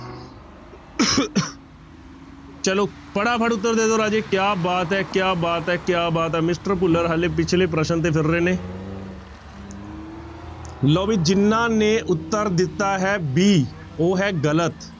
ਚਲੋ ਫਟਾਫਟ ਉੱਤਰ ਦੇ ਦਓ ਰਾਜੇ ਕਿਆ ਬਾਤ ਹੈ ਕਿਆ ਬਾਤ ਹੈ ਕਿਆ ਬਾਤ ਹੈ ਮਿਸਟਰ ਭੁੱਲਰ ਹਾਲੇ ਪਿੱਛਲੇ ਪ੍ਰਸ਼ਨ ਤੇ ਫਿਰ ਰਹੇ ਨੇ ਲਓ ਵੀ ਜਿਹਨਾਂ ਨੇ ਉੱਤਰ ਦਿੱਤਾ ਹੈ b ਉਹ ਹੈ ਗ਼ਲਤ।